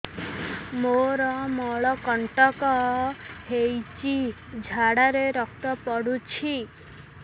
ମୋରୋ ମଳକଣ୍ଟକ ହେଇଚି ଝାଡ଼ାରେ ରକ୍ତ ପଡୁଛି